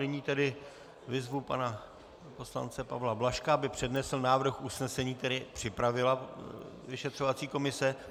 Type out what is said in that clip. Nyní tedy vyzvu pana poslance Pavla Blažka, aby přednesl návrh usnesení, který připravila vyšetřovací komise.